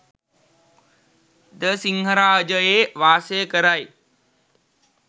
ද සිංහරාජයේ වාසය කරයි